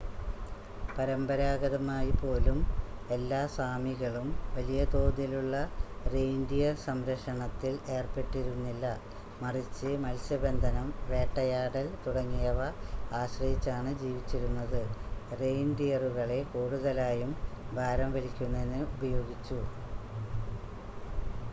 പരമ്പരാഗതമായി പോലും എല്ലാ സാമികളും വലിയ തോതിലുള്ള റെയിൻഡിയർ സംരക്ഷണത്തിൽ ഏർപ്പെട്ടിരുന്നില്ല മറിച്ച് മത്സ്യബന്ധനം വേട്ടയാടൽ തുടങ്ങിയവ ആശ്രയിച്ചാണ് ജീവിച്ചിരുന്നത് റെയിൻഡിയറുകളെ കൂടുതലായും ഭാരം വലിക്കുന്നതിന് ഉപയോഗിച്ചു